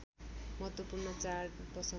महत्त्वपूर्ण चाड वसन्त